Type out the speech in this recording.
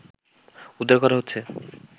উদ্ধার করা হচ্ছে